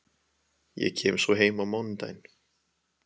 Ég kem svo heim á mánudaginn.